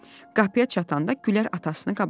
Qapıya çatanda Gülər atasını qabaqladı.